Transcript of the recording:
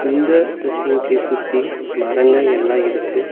இந்த visiting place சுத்தி மரங்க எல்லா இருக்கு.